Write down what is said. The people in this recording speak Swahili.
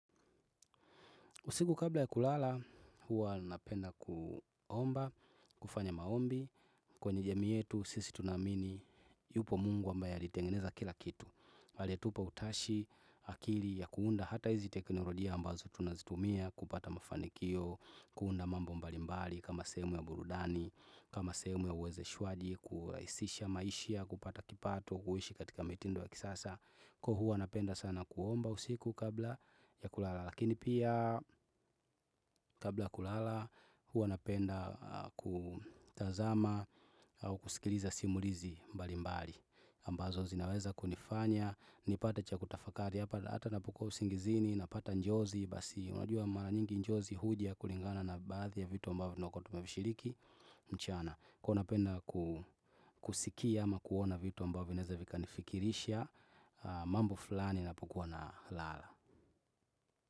Usiku kabla ya kulala, huwa napenda kuomba, kufanya maombi, kwenye jamii yetu, sisi tunaamini, yupo Mungu amba alitengeneza kila kitu. Pale tupo utashi akili ya kuunda hata hizi teknorojia ambazo tunazitumia, kupata mafanikio, kuunda mambo mbalimbali kama sehemu ya burudani, kama sehemu ya uweze shwaji, kurahisisha maishia, kupata kipato, kuishi katika mitindo ya kisasa. Kwa huwa napenda sana kuomba usiku kabla ya kulala. Lakini pia kabla ya kulala huwanapenda kutazama au kuskiliza simulizi mbali mbali ambazo zinaweza kunifanya, nipate cha kutafakari. Hata napokuwa usingizini, napata njozi. Basi unajua mara nyingi njozi huja kulingana na baathi ya vitu ambavo vinakuwa tumevishiriki. Mchana, kuw a napenda kusikia ama kuona vitu ambavyo vinaeza vika nifikirisha mambo fulani napokuwa na lala.